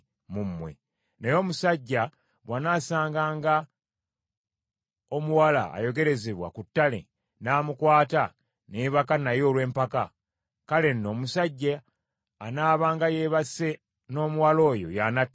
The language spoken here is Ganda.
Naye omusajja bw’anaasanganga omuwala ayogerezebwa ku ttale n’amukwata ne yeebaka naye olw’empaka, kale nno omusajja anaabanga yeebase n’omuwala oyo y’anattibwanga.